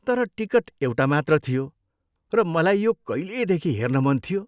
तर टिकट एउटा मात्र थियो, र मलाई यो कहिलेदेखि हेर्न मन थियो।